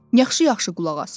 Yaxşı-yaxşı qulaq as.